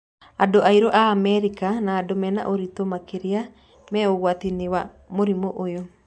Andũ airũ a Amerika na andũ mena ũritũ makĩria me ũgwati-inĩ wa mũrimũ ũyũ.